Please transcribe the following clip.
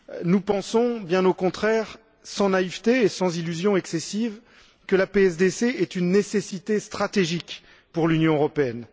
Nous pensons, bien au contraire sans naïveté et sans illusion excessive que la PSDC est une nécessité stratégique pour l'Union européenne.